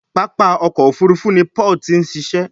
pápá ọkọ̀-òfurufú ni Paul tin ṣiṣẹ